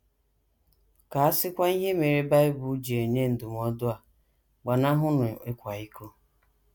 Ka a sịkwa ihe mere Bible ji enye ndụmọdụ a: “ Gbanahụnụ ịkwa iko ”!